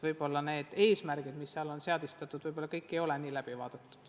Võib-olla seatud eesmärgid pole kõik hästi läbi arutatud.